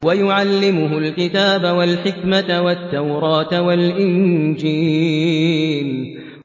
وَيُعَلِّمُهُ الْكِتَابَ وَالْحِكْمَةَ وَالتَّوْرَاةَ وَالْإِنجِيلَ